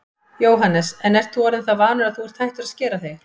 Jóhannes: En þú ert orðinn það vanur að þú ert hættur að skera þig?